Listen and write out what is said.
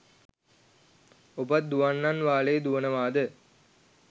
ඔබත් දුවන්නන් වාලේ දුවනවාද